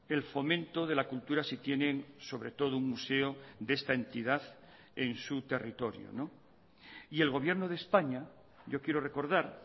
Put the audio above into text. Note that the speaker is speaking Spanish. el fomento de la cultura si tienen sobre todo un museo de esta entidad en su territorio y el gobierno de españa yo quiero recordar